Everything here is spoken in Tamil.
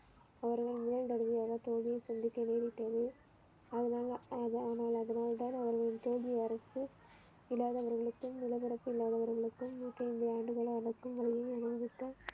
அவர்கள் முதல் தடவையாக தோல்வியை சந்திக்க நேரிட்டது அதனால்தான் அவர்களுக்கு தோல்வி அரசு இல்லாதவர்களுக்கும் இளவரசு இல்லாதவர்களுக்கும் நூற்று ஐந்து ஆண்டுகளாக